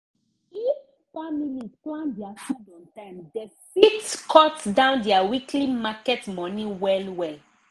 if families plan their food on time dem fit cut down their weekly market money well well